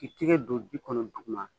I tigɛ do ji kɔnɔ duguma